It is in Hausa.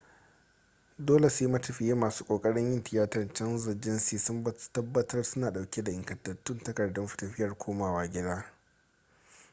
dole sai matafiya masu kokarin yin tiyatar canza jinsi sun tabbatar suna dauke da ingantattun takardun tafiyar komawa gida